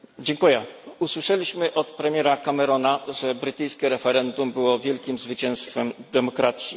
Pani Przewodnicząca! Usłyszeliśmy od premiera Camerona, że brytyjskie referendum było wielkim zwycięstwem demokracji.